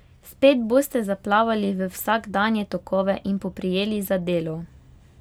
Spet boste zaplavali v vsakdanje tokove in poprijeli za delo.